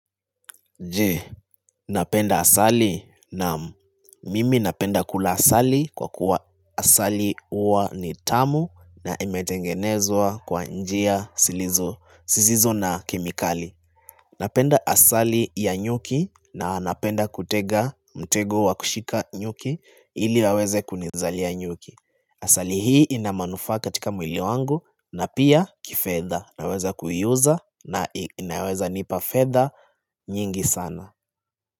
Je napenda asali naam mimi napenda kula asali kwa kuwa asali huwa ni tamu na imetengenezwa kwa njia zilizo siziso na kemikali Napenda asali ya nyuki na napenda kutega mtego wa kushika nyuki ili waweze kunizalia nyuki Asali hii inamanufaa katika mwili wangu na pia kifedha naweza kuiuza na inaweza nipa fedha nyingi sana.